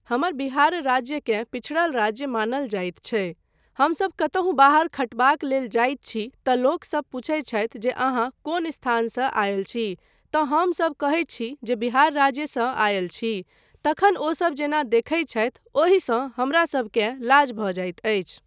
हमर बिहार राज्यकेँ पिछड़ल राज्य मानल जाइत छै हमसभ कतहुँ बाहर खटयबाक लेल जाइत छी तँ लोकसभ पुछैत छथि जे अहाँ कोन स्थानसँ आयल छी तँ हमसभ कहैत छी जे बिहार राज्यसँ आयल छी, तखन ओसभ जेना देखैत छथि ओहिसँ हमरासभकेँ लाज भऽ जाइत अछि।